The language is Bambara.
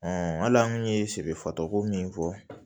hali an kun ye siri fatuko min fɔ